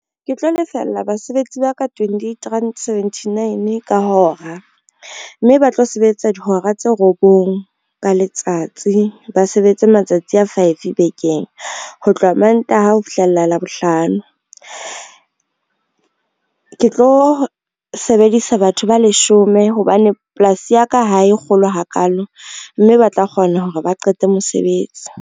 Ke tlo lefella basebetsi ba ka twentyeight rand, seventynine ka hora, mme ba tlo sebetsa dihora tse robong ka letsatsi, ba sebetsa matsatsi a five bekeng, ho tloha Mantaha ho fihlela Labohlano. Ke tlo sebedisa batho ba leshome hobane polasi ya ka ha e kgolo hakalo, mme ba tla kgona hore ba qete mosebetsi.